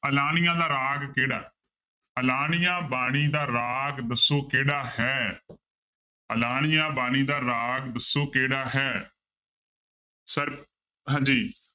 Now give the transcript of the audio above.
ਆਲਾਣੀਆ ਦਾ ਰਾਗ ਕਿਹੜਾ ਆਲਾਣੀਆ ਬਾਣੀ ਦਾ ਰਾਗ ਦੱਸੋ ਕਿਹੜਾ ਹੈ ਆਲਾਣੀਆ ਬਾਣੀ ਦਾ ਰਾਗ ਦੱਸੋ ਕਿਹੜਾ ਹੈ sir ਹਾਂਜੀ